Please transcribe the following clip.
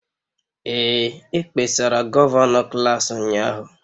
Ee, e kpesara gọvanọ klas ụnyahụ.